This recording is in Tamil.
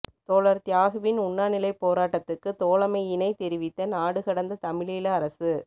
தோழர் தியாகுவின் உண்ணாநிலைப் போராட்டத்துக்கு தோழமையினைத் தெரிவித்த நாடுகடந்த தமிழீழ அரசு